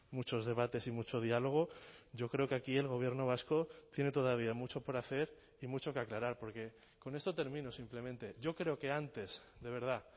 muchos debates y mucho diálogo yo creo que aquí el gobierno vasco tiene todavía mucho por hacer y mucho que aclarar porque con esto termino simplemente yo creo que antes de verdad